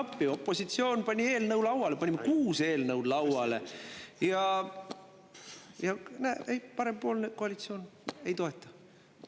Tulime appi, opositsioon pani eelnõu lauale, panime kuus eelnõu lauale ja näe, parempoolne koalitsioon ei toeta.